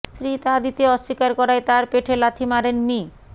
স্ত্রী তা দিতে অস্বীকার করায় তার পেটে লাথি মারেন মি